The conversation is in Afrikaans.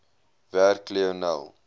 werk lionel